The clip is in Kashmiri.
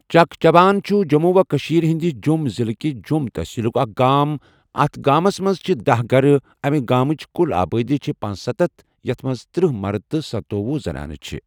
چک چبان چھُ جۆم و کٔشیٖر ہٕنٛدِ جۆم ضِلہٕ کہِ جۆم تَحصیٖلُک اَکھ گام۔ اَتھ گامَس مَنٛز چھِ دہَ گَرٕ اَمہِ گامٕچ کُل آبٲدی چھِ پنسَتتھ یَتھ مَنٛز ترٕہ مَرٕد تہٕ ستوۄہ زَنانہٕ چھِ